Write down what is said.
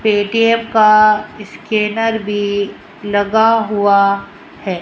ATM का scanner भी लगा हुआ है।